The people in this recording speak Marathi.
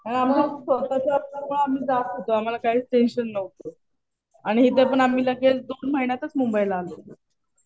आणि आमचं स्वतःच असल्यामुळे आम्ही जात होतो. आम्हाला काहीच टेंशन नव्हतं. आणि इथं पण आम्ही लगेच दोन महिन्यातच मुंबईला आलो.